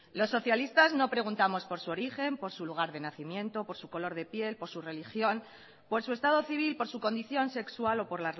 los socialistas no preguntamos por su origen por su lugar de nacimiento por su color de piel por su religión por su estado civil por su condición sexual o por